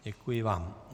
Děkuji vám.